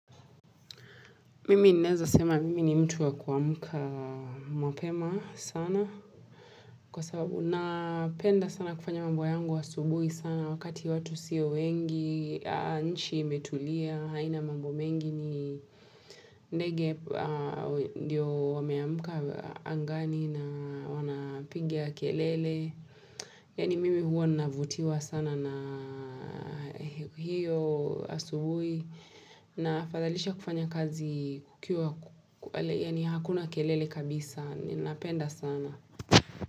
Mimi naweza sema mimi ni mtu wa kuamuka mapema sana kwa sababu na penda sana kufanya mambo yangu wa subuhi sana wakati watu siyo wengi, nchi imetulia, haina mambo mengi ni ndege ndio wameamuka angani na wanapiga kelele. Yani mimi huo navutiwa sana na hiyo asubuhi na fadhalisha kufanya kazi kukiwa, yani hakuna kelele kabisa, ninapenda sana.